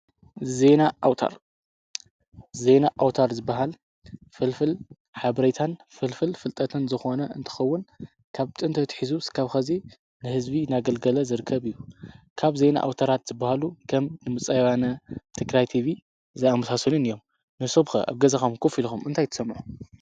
ዜና ኣውታር፦ ዜና ኣውታር ዝብሃል ፍልፍል ሓበሬታን ፍልፍል ፍልጠትን ዝኾኑ እንትኸውን ካብ ጥንቲ ኣትሒዙ ክሳብ ሕዚ ንህዝቢ እናገልገለ ዝርከብ እዩ። ካብ ዜና ኣውታራት ዝባሃሉ ከም ድምፂ ወያነ፣ ትግራት ቲቪን ዝኣምሳሰሉን እዮም። ንስኹም ከ ኣብ ገዛኩም ኮፍ ኢልኩም እንታይ ትሰምዑ?